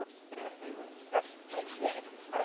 Þegar þeir voru sestir við sagði hann